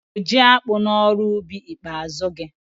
I tụ́rụ jiakpụ n'ọrụubi ikpeazụ gị?